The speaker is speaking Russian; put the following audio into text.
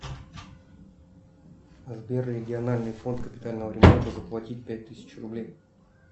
сбер региональный фонд капитального ремонта заплатить пять тысяч рублей